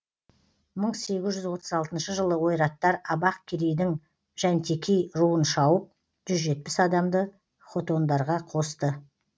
мың сегіз жүз отыз алтыншы жылы ойраттар абақ керейдің жәнтекей руын шауып жүз жетпіс адамды хотондарға қосты